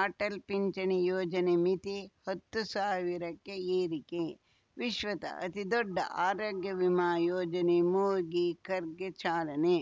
ಅಟಲ್‌ ಪಿಂಚಣಿ ಯೋಜನೆ ಮಿತಿ ಹತ್ತು ಸಾವಿರಕ್ಕೆ ಏರಿಕೆ ವಿಶ್ವದ ಅತಿದೊಡ್ಡ ಆರೋಗ್ಯ ವಿಮಾ ಯೋಜನೆ ಮೋದಿ ಕರ್‌ಗೆ ಚಾಲನೆ